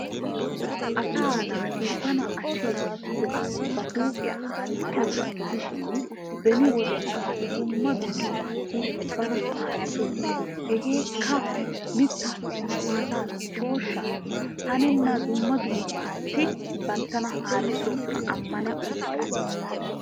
Asaa naati bana asheesi giidobasssi ba huuphiya haarissiyoba gidishin beni wode asati dumma dumma baassi bana haarisoosona. hegeekka mitaassi maataassi shooshaassi hannenna dumma dummabaassi bantaba haarisoosona amani uttidi.